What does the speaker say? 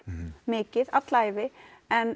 mikið alla ævi en